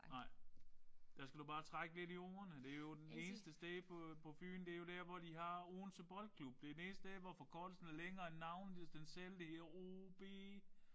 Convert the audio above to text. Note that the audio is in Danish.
Nej. Der skal du bare trække lidt ordene. Det jo det eneste sted på på Fyn det jo der hvor de har Odense Boldklub det det eneste sted hvor forkortelsen er længere end navnet i den selv det er OB